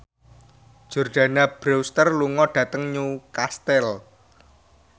Jordana Brewster lunga dhateng Newcastle